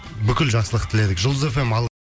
бүкіл жақсылық тіледік жұлдыз эф эм ал